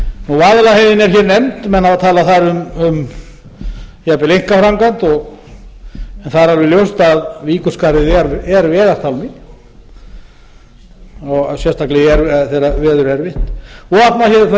vaðlaheiðin er hér nefnd menn hafa talað þar um jafnvel einkaframkvæmd en það er alla ljóst að víkurskarðið er vegartálmi sérstaklega þegar veður er erfitt vopnafjörður